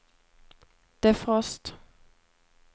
defrost